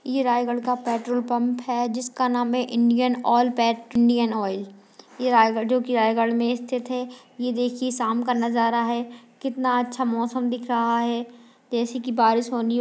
ये रायगढ़ का petrol pump है जिसका नाम है इंडियन ऑयल पैट इंडियन ऑयल ये रायगढ़ जो की रायगढ़ में स्थित है यह देखिए शाम का नजारा है कितना अच्छा मौसम दिख रहा है तेजी की बारिश होने--